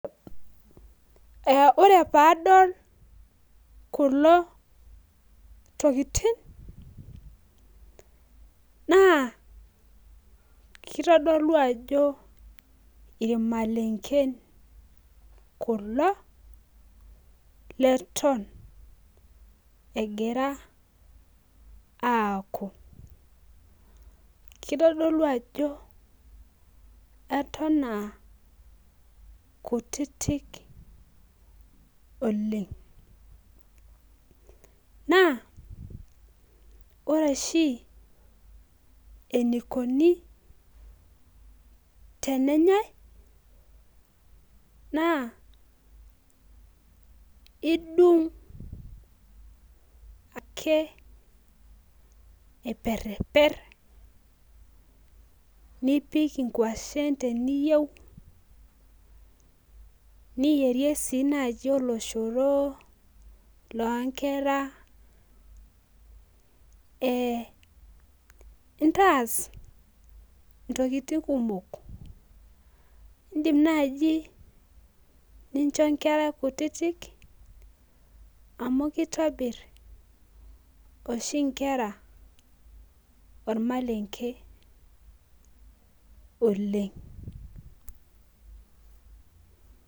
Ee ore pee adol kulo tokitin, naa kitodolu ajo ilamalenken kulo, leton egira, aaku. kitodolu ajo Eton aa kutitik, oleng. naa ore oshi. enikoni, tenenyae naa idungu ake, aiperiper. nipik inkwashen teniyieu .niyierie sii naaji oloshoro loo nkera.ee intaas ntokitin kumok idim naaji nincho nkera kutitik amu kitobir oshi nkera olmalenke oleng.